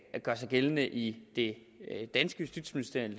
gør sig gældende i det danske justitsministerium